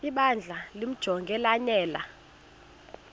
ibandla limjonge lanele